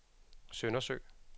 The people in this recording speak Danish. Søndersø